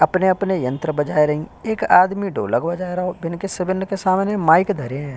अपने-अपने यंत्र बजाए रहीं। एक आदमी ढोलक बजाए रओ बिन के सबीन के सामने माइक धारे ऐं ।